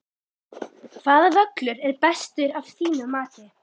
Hvaða völlur er bestur af þínu mati?